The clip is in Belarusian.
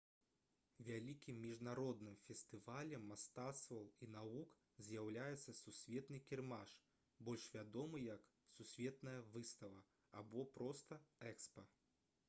вялікім міжнародным фестывалем мастацтваў і навук з'яўляецца сусветны кірмаш больш вядомы як «сусветная выстава» або проста «экспа»